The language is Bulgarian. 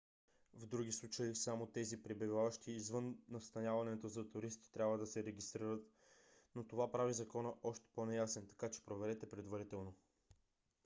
в други случаи само тези пребиваващи извън настаняването за туристи трябва да се регистрират. но това прави закона още по-неясен така че проверете предварително